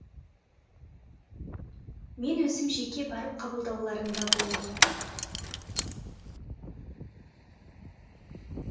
мен өзім жеке барып қабылдауларында болдым